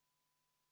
Head päeva!